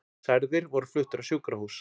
Særðir voru fluttir á sjúkrahús